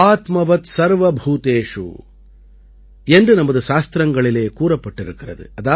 ஆத்மவத் சர்வபூதேஷு என்று நமது சாஸ்திரங்களிலே கூறப்பட்டிருக்கிறது